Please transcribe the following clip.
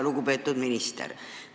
Lugupeetud minister!